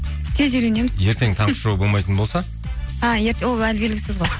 тез үйренеміз ертең таңғы шоу болмайтын болса а ол әлі белгісіз ғой